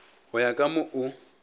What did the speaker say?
go ya ka mo o